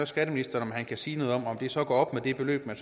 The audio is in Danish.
skatteministeren kan sige noget om om det så går op med det beløb man